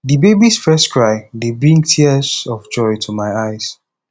di babys first cry dey bring tears of joy to my eyes